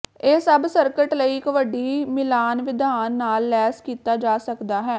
ਇਹ ਸਭ ਸਰਕਟ ਲਈ ਇੱਕ ਵੱਡੀ ਮਿਲਾਨ ਵਿਧਾਨ ਨਾਲ ਲੈਸ ਕੀਤਾ ਜਾ ਸਕਦਾ ਹੈ